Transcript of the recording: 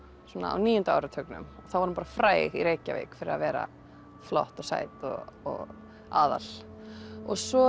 á níunda áratugnum þá var hún fræg í Reykjavík fyrir að vera flott og sæt og aðal svo